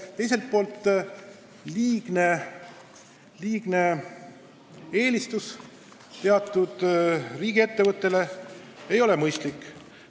Teiselt poolt ei ole teatud riigiettevõtte liigne eelistus mõistlik.